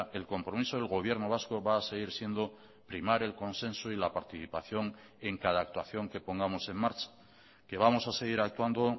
el compromiso del gobierno vasco va a seguir siendo primar el consenso y la participación en cada actuación que pongamos en marcha que vamos a seguir actuando